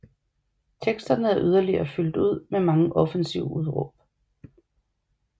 Teksterne er yderligere fyldt ud med mange offensive udråb